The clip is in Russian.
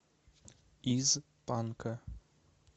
из панка